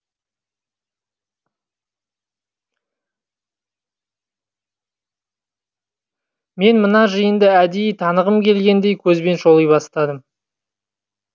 мен мына жиынды әдейі танығым келгендей көзбен шоли бастадым